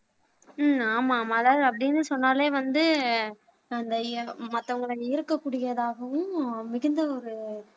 உம் ஆமா மலர் அப்படின்னு சொன்னாலே வந்து அந்த மத்தவங்கள ஈர்க்க கூடியதாகவும் மிகுந்த ஒரு